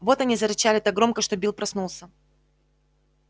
вот они зарычали так громко что билл проснулся